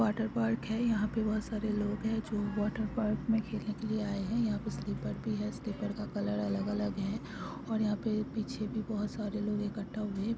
Water park है यहाँ पे बहुत सारे लोग जो वाटर पार्क में खेलने के लिए आये है यह पे स्लीपर भी है स्लीपर अलग अलग है और यहाँ पीछे भी बहुत सारे लोग इककठा हुए है।